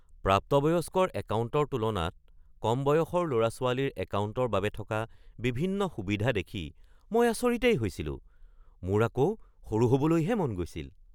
প্ৰাপ্তবয়স্কৰ একাউণ্টৰ তুলনাত কম বয়সৰ ল’ৰা-ছোৱালীৰ একাউণ্টৰ বাবে থকা বিভিন্ন সুবিধা দেখি মই আচৰিতেই হৈছিলোঁ। মোৰ আকৌ সৰু হ'বলৈহে মন গৈছিল।